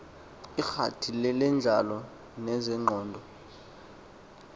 iingxaki zentlalo nezengqondo